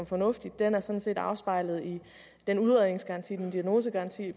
fornuftig og den er sådan set afspejlet i den udredningsgaranti den diagnosegaranti